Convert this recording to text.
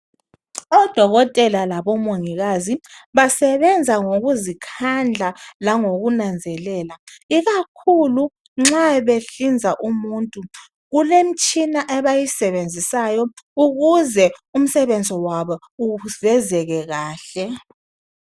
Odokotela labomongikazi basebenza ngokuzikhandla langokunanzelela ikakhulu nxa behlinza umuntu kulemitshina abayisebenzisayo ukuze umsebenzi wabo uvezeke kahle